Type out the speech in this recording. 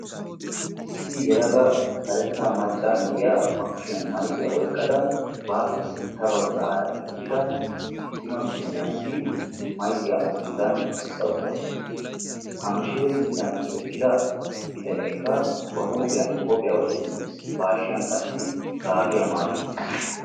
Issi yeelaga kaaretta maccaa naaiya ba kushiyan maykkiya oyqqada bape sintta baggara eqqida issi ciima biitaniyasi maykkiya a sinttan essa uttasu. Ha mishshire sinttan eqqida biitanekka ba huuphphiyan qophphiyaa wottiuttis. ba hashshiyan qassi gaabiya maayi uttis.